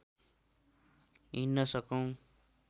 hidden सकौँ